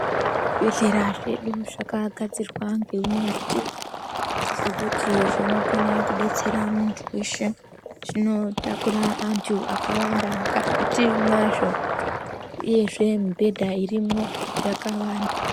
Zvibhehlera zvedu zvakagadzirwa ngeunyadzvi nekuti zvinokone kudetsera muntu weshe zvinotakura antu akawanda mukati mazvo uyezve mibhedha irimwo yakawanda.